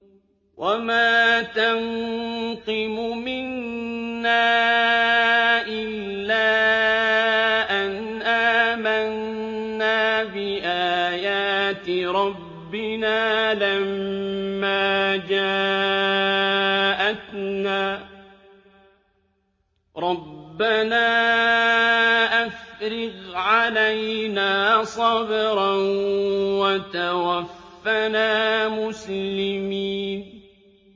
وَمَا تَنقِمُ مِنَّا إِلَّا أَنْ آمَنَّا بِآيَاتِ رَبِّنَا لَمَّا جَاءَتْنَا ۚ رَبَّنَا أَفْرِغْ عَلَيْنَا صَبْرًا وَتَوَفَّنَا مُسْلِمِينَ